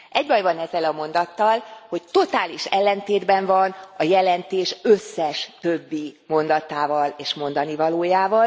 Egy baj van ezzel a mondattal, hogy totális ellentétben van a jelentés összes többi mondatával és mondanivalójával.